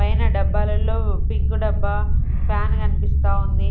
పైన డబ్బాలలో పింక్ డబ్బా ఫ్యాన్ కనిపిస్తా ఉంది.